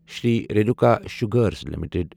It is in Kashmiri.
Shri Renuka sugars limited